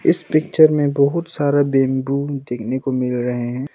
इस पिक्चर में बहुत सारा बंबू देखने को मिल रहे हैं।